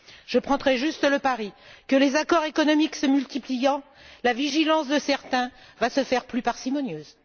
Je prendrai juste le pari que, les accords économiques se multipliant, la vigilance de certains va se faire plus parcimonieuse.